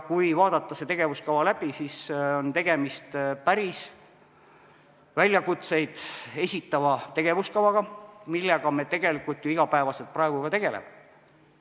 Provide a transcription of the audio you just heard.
Kui vaadata see tegevuskava läbi, siis näeme, et on tegemist päris väljakutseid esitava tegevuskavaga, millega me tegelikult ju iga päev ka praegu tegeleme.